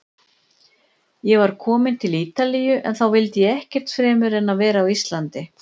Ég var kominn til Ítalíu- en þá vildi ég ekkert fremur en vera á Íslandi.